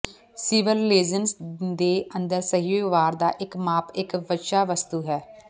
civil relations ਦੇ ਅੰਦਰ ਸਹੀ ਵਿਵਹਾਰ ਦਾ ਇੱਕ ਮਾਪ ਇਕ ਵਿਸ਼ਾ ਵਸਤੂ ਹੈ